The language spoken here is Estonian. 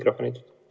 No proovime uuesti.